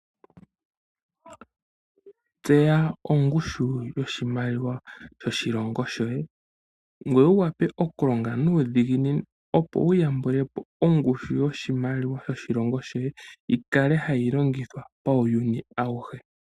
Tseya ongushu yoshimaliwa shoshilongo shoye, ngoye wu wape okulonga nuudhiginini opo wu yambulepo ongushu yoshimaliwa shoshilongo shoye yikale hayi longithwa pauyuni awuhe.